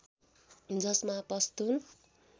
जसमा पस्तुन